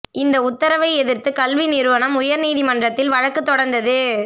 இந்த உத்தரவை எதிர்த்து கல்வி நிறுவனம் உயர் நீதிமன்றத்தில் வழக்கு தொடர்ந்தது